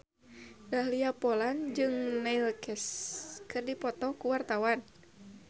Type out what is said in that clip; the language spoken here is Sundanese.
Dahlia Poland jeung Neil Casey keur dipoto ku wartawan